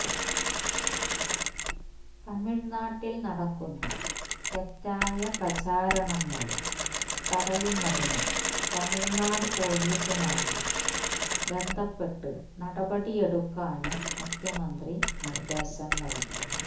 തമിഴ്നാട്ടില് നടക്കുന്ന തെറ്റായ പ്രചാരണങ്ങള് തടയുന്നതിന് തമിഴ്നാട് പോലീസുമായി ബന്ധപ്പെട്ട് നടപടി എടുക്കാനും മുഖ്യമന്ത്രി നിര്ദേശം നല്കി